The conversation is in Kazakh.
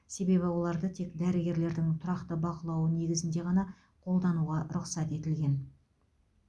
себебі оларды тек дәрігердің тұрақты бақылауы негізінде ғана қолдануға рұқсат етілген